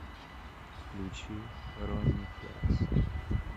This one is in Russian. включи ронни флекс